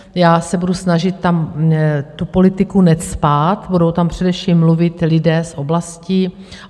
Já se budu snažit tam tu politiku necpat, budou tam především mluvit lidé z oblastí.